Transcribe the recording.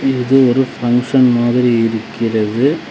இது ஒரு பங்ஷன் மாதிரி இருக்கிறது.